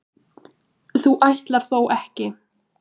þú ætlar þó ekki.